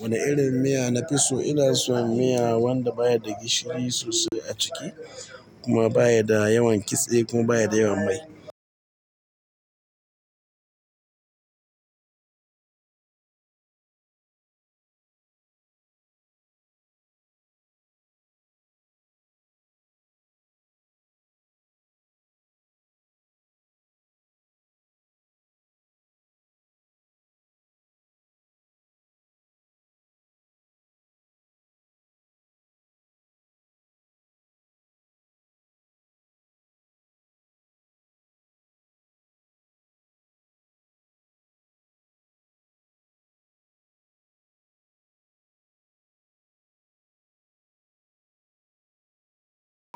Wane irin miya nafi so? Ina son miya wanda baya da gishiri sosai a ciki kuma baya da yawan kitse kuma baya da yawan mai.